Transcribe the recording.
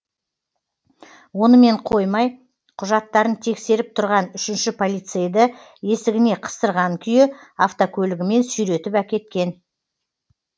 онымен қоймай құжаттарын тексеріп тұрған үшінші полицейді есігіне қыстырған күйі автокөлігімен сүйретіп әкеткен